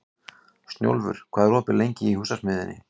Snjólfur, hvað er opið lengi í Húsasmiðjunni?